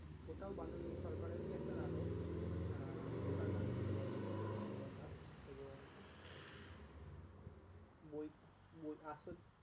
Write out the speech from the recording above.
ওটাও বাদল সরকারেরই একটা নাটক আহ ওটার নাম হচ্ছে বল্লভপুরের রূপকথা এবং বই বই আছে